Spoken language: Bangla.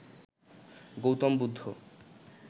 গৌতম বুদ্ধ